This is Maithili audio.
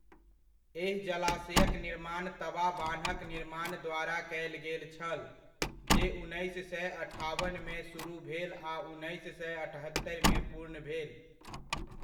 एहि जलाशयक निर्माण तवा बान्हक निर्माण द्वारा कयल गेल छल, जे उन्नैस सए अठाबनमे सुरुह भेल आ उन्नैस सए अठत्तरिमे पूर्ण भेल।